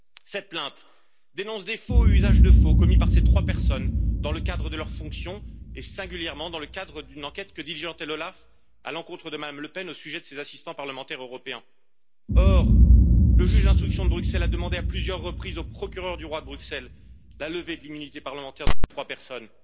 Cette plainte dénonce des faux et usage de faux commis par ces trois personnes dans le cadre de leurs fonctions et singulièrement dans le cadre d'une enquête que diligentait l'OLAF à l'encontre de Mme Le Pen, au sujet de ses assistants parlementaires européens. Or, le juge d'instruction de Bruxelles a demandé à plusieurs reprises au procureur du roi, la levée de l'immunité parlementaire de ces trois personnes.